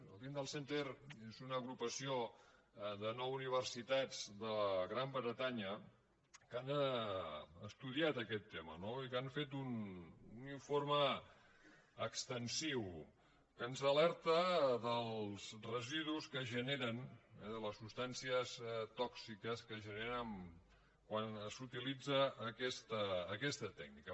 el tyndall centre és una agrupació de nou universitats de gran bretanya que han estudiat aquest tema no i que han fet un informe extensiu que ens alerta dels residus que es generen les substàncies tòxiques que es generen quan s’utilitza aquesta tècnica